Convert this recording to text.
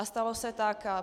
A stalo se tak.